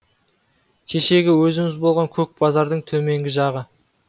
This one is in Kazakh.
кешегі өзіміз болған көк базардың төменгі жағы